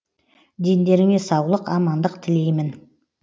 дендеріңе саулық амандық тілейм